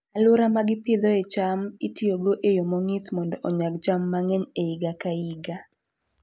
Alwora ma gipidhoe cham itiyogo e yo mong'ith mondo onyag cham mang'eny e higa ka higa.